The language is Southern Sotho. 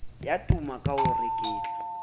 ya tuma ka ho reketla